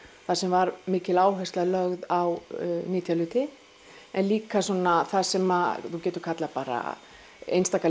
þar sem var mikil áhersla lögð á nytjahluti en líka svona það sem þú getur kallað bara einstaka